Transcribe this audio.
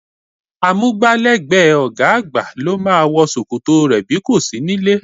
Amúgbálẹ́gbẹ̀ẹ́ ọ̀gá àgbà ló máa wọ ṣòkòtò rẹ bí kò sí níllé